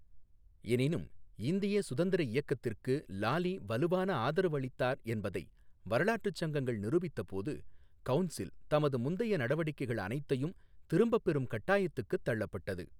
எனினும் இந்திய சுதந்திர இயக்கத்திற்கு லாலீ வலுவான ஆதரவு அளித்தார் என்பதை வரலாற்றுச் சங்கங்கள் நிரூபித்தபோது, கவுன்சில் தமது முந்தைய நடவடிக்கைகள் அனைத்தையும் திரும்பப்பெறும் கட்டாயத்துக்குத் தள்ளப்பட்டது.